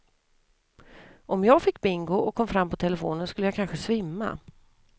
Om jag fick bingo och kom fram på telefonen skulle jag kanske svimma.